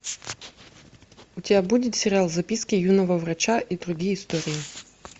у тебя будет сериал записки юного врача и другие истории